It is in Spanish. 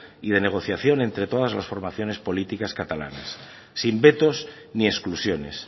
y de negociación entre todas las formaciones políticas catalanas sin vetos ni exclusiones